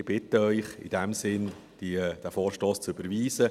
Ich bitte Sie in diesem Sinn, den Vorstoss zu überweisen: